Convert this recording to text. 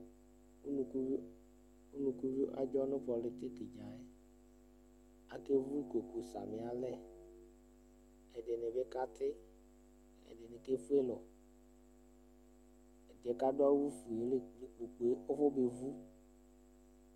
Ukuvio adzɔ nʋ pɔlɩtɩkɩ dza yɛ Akevu kpoku samɩ alɛ, ɛdɩnɩ bɩ katɩ, ɛdɩnɩ kefue lɔ Ɛdɩ yɛ kʋ adʋ awʋfue yɛ la ekple kpoku yɛ kʋ afɔbevu